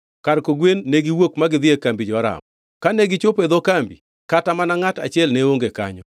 Kar kogwen negiwuok ma gidhi e kambi jo-Aram. Kane gichopo e dho kambi, kata mana ngʼat achiel ne onge kanyo,